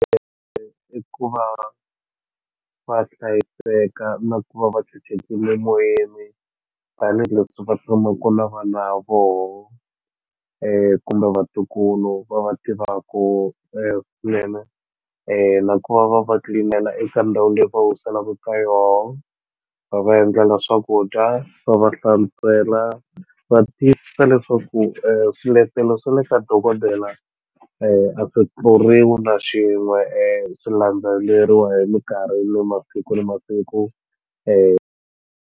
i ku va va hlayiseka na ku va va tshunxekile moyeni tanihileswi va tshamaku na vana vona kumbe vatukulu va va tivaku swinene na ku va va va clean-ela eka ndhawini leyi va wiselaku ka yona va va endlela swakudya va va hlantswela va tiyisisa leswaku swiletelo swa le ka dokodela a swi tluriwi na xin'we swi landzeleriwa hi minkarhi ni masiku na masiku .